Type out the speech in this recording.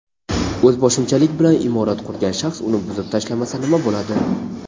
O‘zboshimchalik bilan imorat qurgan shaxs uni buzib tashlamasa nima bo‘ladi?.